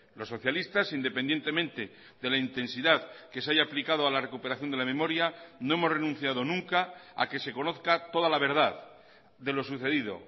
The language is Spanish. los socialistas independientemente de la intensidad que se haya aplicado a la recuperación de la memoria no hemos renunciado nunca a que se conozca toda la verdad de lo sucedido